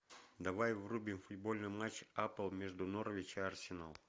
давай врубим футбольный матч апл между норвич и арсенал